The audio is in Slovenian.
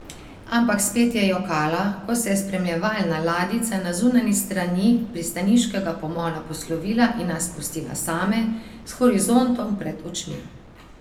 Ampak spet je jokala, ko se je spremljevalna ladjica na zunanji strani pristaniškega pomola poslovila in nas pustila same, s horizontom pred očmi.